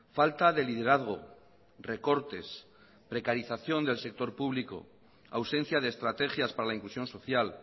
falta de liderazgo recortes precarización del sector público ausencia de estrategias para la inclusión social